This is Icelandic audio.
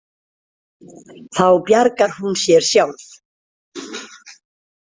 Þá bjargar hún sér sjálf.